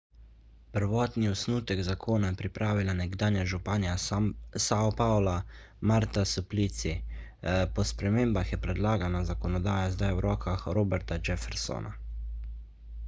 prvotni osnutek zakona je pripravila nekdanja županja sao paula marta suplicy po spremembah je predlagana zakonodaja zdaj v rokah roberta jeffersona